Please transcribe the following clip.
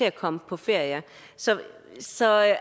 at komme på ferie så så er